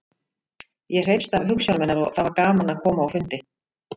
Ég hreifst af hugsjónum hennar og það var gaman að koma á fundi.